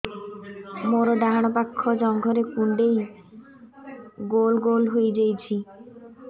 ମୋର ଡାହାଣ ପାଖ ଜଙ୍ଘରେ କୁଣ୍ଡେଇ ଗୋଲ ଗୋଲ ହେଇଯାଉଛି